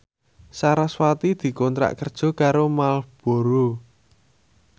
sarasvati dikontrak kerja karo Marlboro